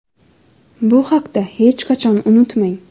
Bu haqda hech qachon unutmang.